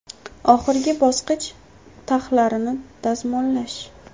Oxirgi bosqich taxlarini dazmollash.